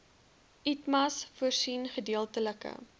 itmas voorsien gedeeltelike